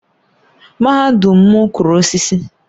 Mahadum m kụrụ osisi